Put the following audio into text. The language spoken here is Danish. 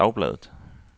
dagbladet